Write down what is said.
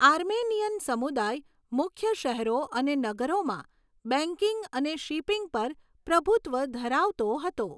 Armenian સમુદાય મુખ્ય શહેરો અને નગરોમાં બેંકિંગ અને શિપિંગ પર પ્રભુત્વ ધરાવતો હતો.